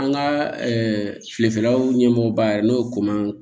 An ka fiyɛlaw ɲɛmɔgɔ ba yɛrɛ n'o ye koma